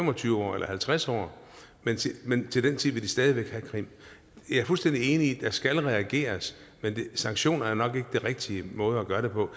og tyve år eller halvtreds år men til den tid vil stadig have krim jeg er fuldstændig enig i at der skal reageres men sanktioner er nok ikke den rigtige måde at gøre det på